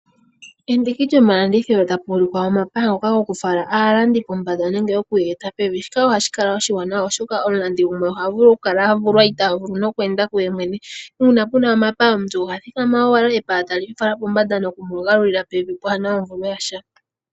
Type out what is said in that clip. Pomandiki gamwe gomalandithilo opuna omapaya, ngoka gokufala aantu pomala gopombanda nenge kweeta aantu pevi. Shika ohashi kala oshiwanawa oshoka aantu yamwe ohaya kala ya vulwa okweenda kuyoyene.